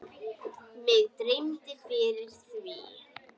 Mig dreymdi fyrir því.